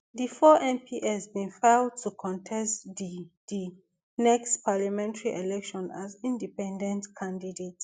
di four mps bin file to contest di di the next parliamentary election as independent candidates